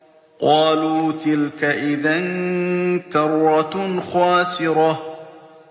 قَالُوا تِلْكَ إِذًا كَرَّةٌ خَاسِرَةٌ